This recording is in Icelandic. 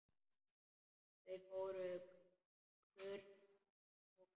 Það fór kurr um hópinn.